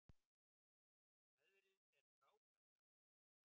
Veðrið er frábært alveg.